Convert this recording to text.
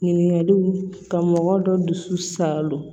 Ɲininkaliw ka mɔgɔ dɔ dusu salo